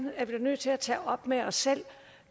er nødt til at tage op med os selv